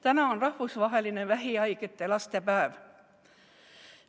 Täna on rahvusvaheline vähihaigete laste päev.